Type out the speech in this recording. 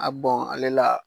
A bɔn ale la